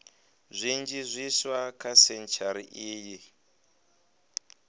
zwinzhi zwiswa kha sentshari iyi